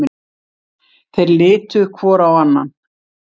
Þeir litu hvor á annan.